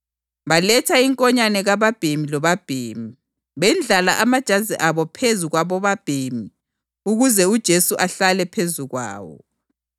Baletha inkonyane kababhemi lobabhemi, bendlala amajazi abo phezu kwabobabhemi ukuze uJesu ahlale phezu kwawo.